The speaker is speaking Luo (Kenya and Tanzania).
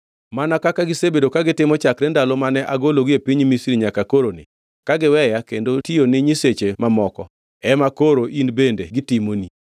Mana kaka gisebedo ka gitimo chakre ndalo mane agologi e piny Misri nyaka koroni, kagiweya kendo gitiyo ni nyiseche mamoko, ema koro in bende gitimoni.